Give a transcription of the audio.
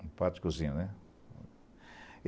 um prato de cozinha, né.